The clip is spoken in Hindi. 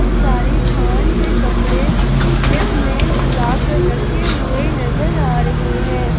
सारे थान के कपड़े स्लैब में सजा कर रखे हुए नजर आ रहे हैं।